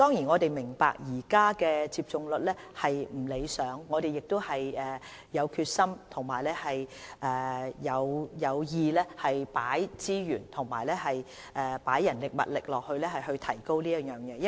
我們也明白現時的接種率並不理想，但我們有決心也有計劃投放資源和人力，務求這方面的數字可以有所提高。